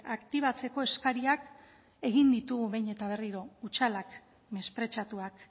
aktibatzeko eskariak egin ditugu behin eta berriro hutsalak mespretxatuak